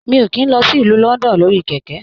Mi o kìí lọ sí ìlú London lórí kẹkẹ.